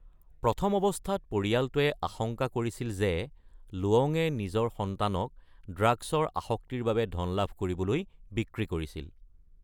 প্ৰথম অৱস্থাত পৰিয়ালটোৱে আশংকা কৰিছিল যে লুৱঙে নিজৰ সন্তানক ড্ৰাগছৰ আসক্তিৰ বাবে ধন লাভ কৰিবলৈ বিক্ৰী কৰিছিল।